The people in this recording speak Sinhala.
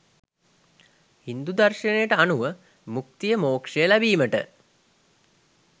හින්දු දර්ශනයට අනුව මුක්තිය මෝක්ෂය ලැබීමට